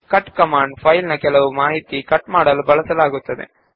cut command ನ್ನು file ನ ಕೆಲವು ಮಾಹಿತಿಗಳನ್ನು ಕಟ್ ಮಾಡಲು ಬಳಸುತ್ತಾರೆ